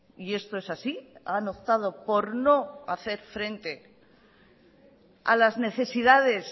y esto es así han optado por no hacer frente a las necesidades